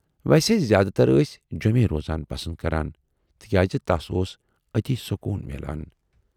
ویسے زیاد تر ٲس جیمی روزُن پسند کران تِکیازِ تَس اوس ٲتی سکوٗن میلان۔